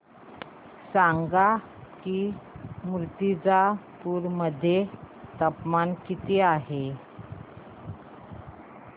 सांगा की मुर्तिजापूर मध्ये तापमान किती आहे